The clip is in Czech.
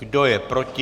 Kdo je proti?